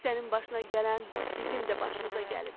Sənin başına gələn bizim də başımıza gəlib.